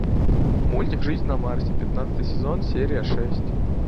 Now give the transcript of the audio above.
мультик жизнь на марсе пятнадцатый сезон серия шесть